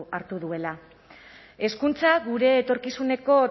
hartu duela hezkuntza gure etorkizuneko